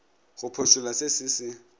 go phošolla se se se